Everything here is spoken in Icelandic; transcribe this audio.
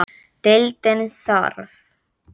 Deildin þarf